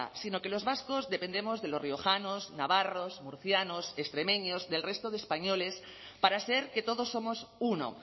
sino que los vascos dependemos de los riojanos navarros murcianos extremeños del resto de españoles para ser que todos somos uno